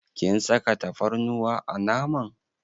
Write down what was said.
Kin saka tafarnuwa a naman.